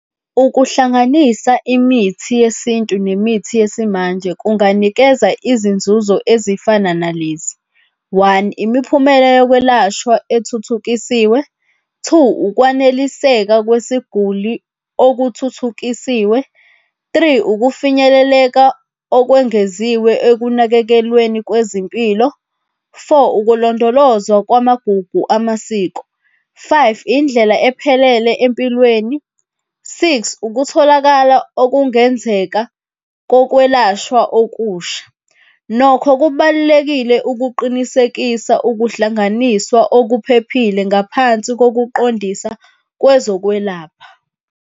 Ukuhlanganisa imithi yesintu nemithi yesimanje kunganikeza izinzuzo ezifana nalezi, one, imiphumela yokwelashwa ethuthukisiwe. Two, ukwaneliseka kwesiguli okuthuthukisiwe. Three, ukufinyeleleka okwengeziwe ekunakekelweni kwezimpilo. Four, ukulondolozwa kwamabhubhu amasiko. Five, indlela ephelele empilweni. Six, ukutholakala okungenzeka kokwelashwa okusha. Nokho kubalulekile ukuqinisekisa ukuhlanganiswa okuphephile ngaphansi kokuqondisa kwezokwelapha.